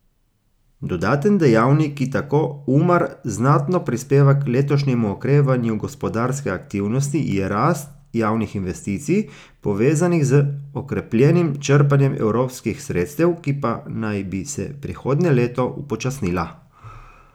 Dodaten dejavnik, ki, tako Umar, znatno prispeva k letošnjemu okrevanju gospodarske aktivnosti, je rast javnih investicij, povezanih z okrepljenim črpanjem evropskih sredstev, ki pa naj bi se prihodnje leto upočasnila.